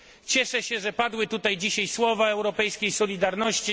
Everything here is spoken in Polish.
Cieszę się, że padły tutaj dzisiaj słowa europejskiej solidarności.